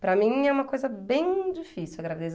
Para mim é uma coisa bem difícil a gravidez.